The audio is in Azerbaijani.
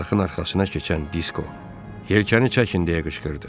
Çarxın arxasına keçən Disko yelkəni çəkin deyə qışqırdı.